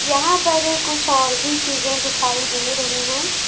यहाँ पर कुछ और भी चीजें दिखाई दे रही हैं।